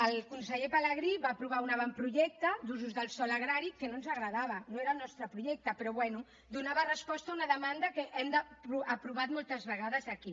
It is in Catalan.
el conseller pelegrí va aprovar un avantprojecte d’usos del sòl agrari que no ens agradava no era el nostre projecte però bé donava resposta a una demanda que hem aprovat moltes vegades aquí